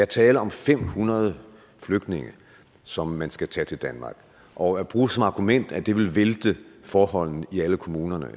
tale om fem hundrede flygtninge som man skal tage til danmark og at bruge som argument at det vil vælte forholdene i alle kommunerne